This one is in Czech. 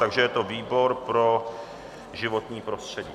Takže je to výbor pro životní prostředí.